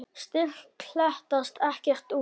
styrk klekst ekkert út.